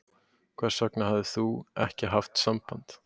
Hvers vegna hafðir ÞÚ ekki haft samband?